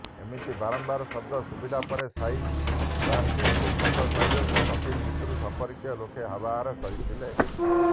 ଏମିତି ବାରମ୍ବାର ଶବ୍ଦ ଶୁଭିଲା ପରେ ସାଇ ବ୍ର୍ୟାଡଲିଙ୍କୁ ମୃତ ଶରୀରକୁ କଫିନ୍ ଭିତରୁ ସଂପର୍କୀୟ ଲୋକ ବାହାର କରିଥିଲେ